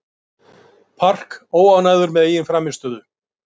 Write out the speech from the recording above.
Park óánægður með eigin frammistöðu